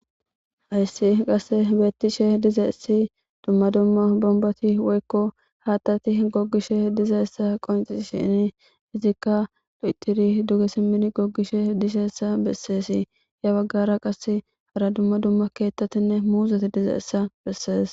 hayssi qasse beettishe diza essi dumma dumma bomboti woykko haattati gogishe diza essa qonci shini izikka do7tiri duge simmin goggishe disheessa besseesi ya baggara qas hara dumma dumma keettatinne muuzeti diza essa bessees